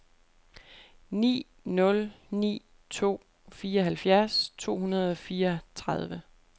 ni nul ni to fireoghalvfjerds to hundrede og fireogtredive